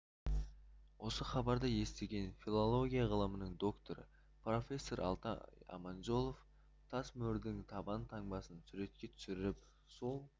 осы хабарды естіген филология ғылымының докторы профессор алтай аманжолов тас мөрдің табан таңбасын суретке түсіріп сол